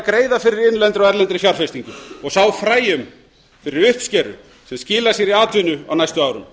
greiða fyrir innlendri og erlendri fjárfestingu og sá fræjum fyrir uppskeru sem skilar sér í atvinnu á næstu árum